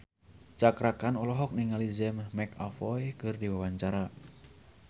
Cakra Khan olohok ningali James McAvoy keur diwawancara